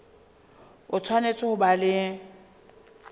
o tshwanetse ho ba le